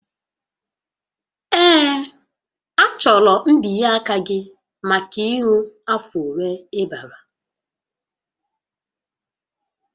Ee, achọrọ mbinye aka gị maka ịṅụ afọ ole ị gbara